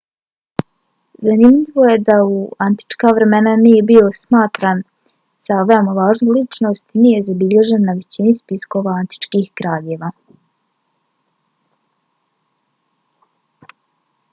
zanimljivo je da u antička vremena nije bio smatran za veoma važnu ličnost i nije zabilježen na većini spiskova antičkih kraljeva